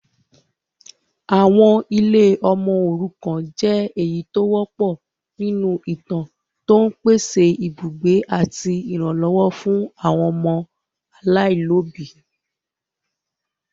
Àwọn ilé ọmọ òrukàn jẹ èyí tó wọpọ̀ nínú ìtàn, tó ń pèsè ibùgbé àti ìrànlọ́wọ́ fún àwọn ọmọ aláìlóbìí.